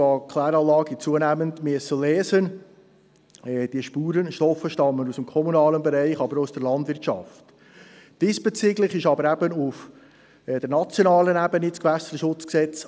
Wir führen die erste Lesung durch und beginnen gleich mit der Eintretensdebatte.